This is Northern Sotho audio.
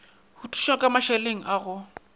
thušwa ka mašeleng a go